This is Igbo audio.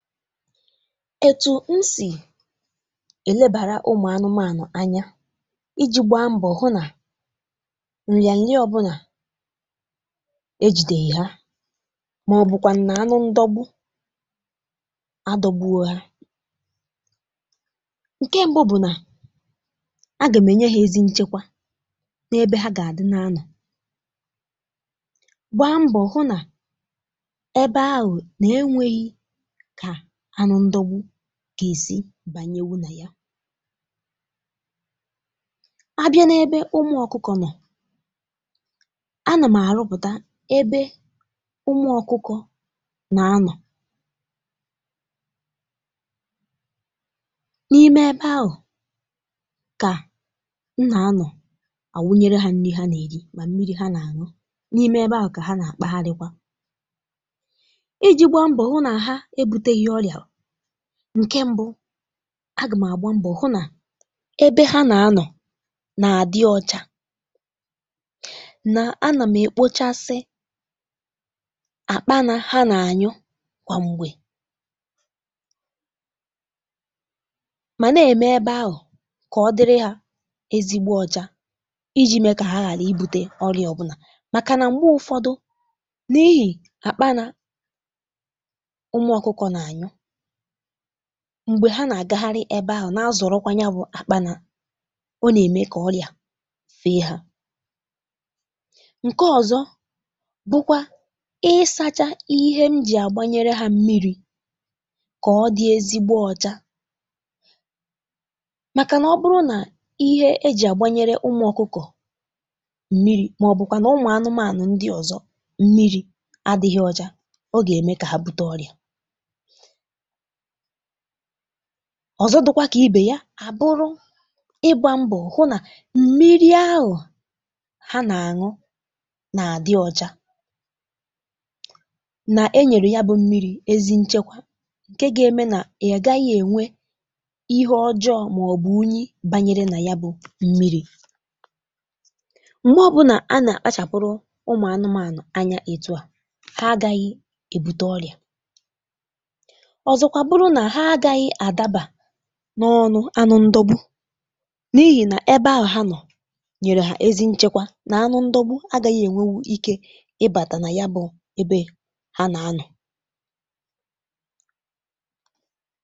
Etù n sì è lebàra umù anụmȧnụ̀ anya iji̇ gbaa mbọ̀ hụ nà nrịà nria ọbụnà ejìdè hi ha màọ̀bụ̀kwà nà anụ ndọgbu adọ̇gboro hȧ ǹke, ṁbụ bụ̀ nà agàm nyere ha ezi nchekwa n’ebe ha gà àdị n’ano, gbaa mbọ̀ hụ nà ebe ahụ̀ nà enwėghi kà anụ ndogbu ga-èsi bànyewu nà ya, abịa na ebe umù ọkụkọ̀ noo, agàm àrụputa ebe umù ọkụkọ̀ gà-anọ, n’ime ebe ahụ ka m gà-anọ na àwunyere ha nri ha gà-èrì màa mmiri ha gà-ànu, n’ime ebe ahụ ka ha gà-àkparaikwa, iji gbaa mbọ hụ nà ha èbutèghi ọrịa, ǹke mbụ agàm àgba mbọ̀ hụ nà ebe ha nà-anọ̀ nà-àdị ọcha nà a nà m èkpochasị àkpa nà ha nà-ànyụ kwà m̀gbè mà na-ème ebe ahụ̀ kà ọ dịrị ha ezigbo ọcha, iji̇ mee kà ha ghàra ibu̇te ọrịà ọ̀bụnà màkà nà m̀gbè ụ̀fọdụ, n’ihì àkpa nà ụmụ̀ ọkụkọ̀ na-ànyụ, m̀gbè ha nà-àgagharị ebe ahụ̀ na-azọ̀rọkwanye bụ̀ àkpà nà o nà-ème kà ọrịà fée ha. Ǹke ọ̀zọ bụkwa ịsȧchȧ ihe m jì àgbanyere hȧ mmiri̇ kà ọ dị ezigbo ọcha màkà nà ọ bụrụ nà ihe e jì àgbanyere ụmụ̀ ọkụkọ̀ mmiri̇ màọbụ̀kwà na ụmụ̀ anụmȧnụ̀ ndị ọ̀zọ mmiri̇ adị̇ghị ọcha, o gà-ème kà ha bùte ọrịà. Ọ̀zọ dị̇kwa kà ibè ya àbụrụ ịgbȧ mbọ̀ hụ nà m̀miri ahụ̀ ha nà-àṅụ nà-àdị ọcha nà-ènyèrè ya bụ̇ m̀miri̇ ezi nchekwa ǹke gà-eme nà ya gà-àghàghị̇ ènwe ihe ọjọọ màọbụ̀ unyi bànyere nà ya bụ̇ m̀miri̇. M̀gbè ọbụnà a nà-àkpachàpụrụ ụmụ̀ anụmȧnụ̀ anya ètù a, ha agȧghị̇ èbute ọrịà, ọzọkwa àbụrụ nà ha agàghị adàbà n’ọnụ̇ anụ ndogbu n’ihì nà ebe ahụ̀ ha nọ̀ nyèrè ha ezi nchekwa na anụ ndogbu agȧghị̇ ènwewu ike ịbȧtà nà ya bụ̀ ebe ha nà-anọ̀.